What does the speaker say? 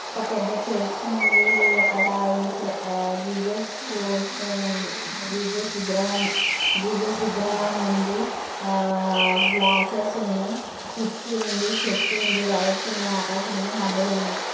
ఒక పెద్ద చర్చు ఉంది. అక్కడ ఏసాయ్ ఆ-జీసస్ పోస్టర్ ఉంది జీసస్ విగ్రహం జీసస్ విగ్రహం ఉంది ఆ-ఆ గ్లాస్సెస్ ఉన్నాయ్ కిటికీ ఉంది చెట్టు ఉంది వైర్స్ ఉన్నాయ్ ఆకాశం ఉంది. మబ్బులున్నాయి.